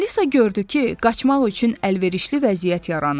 Alisa gördü ki, qaçmaq üçün əlverişli vəziyyət yaranıb.